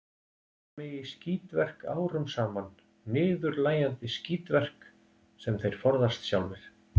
Þeir hafa notað mig í skítverk árum saman, niðurlægjandi skítverk, sem þeir forðast sjálfir.